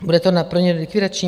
Bude to pro ně likvidační.